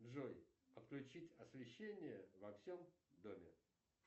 джой отключить освещение во всем доме